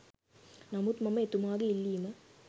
නමුත් මම එතුමාගේ ඉල්ලීම